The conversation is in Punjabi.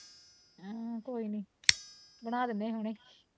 ਅਹ ਕੋਈ ਨੀ ਬਣਾ ਦਿੰਦੇ ਆ ਹੁਣੇ